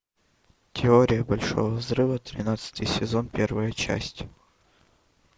теория большого взрыва тринадцатый сезон первая часть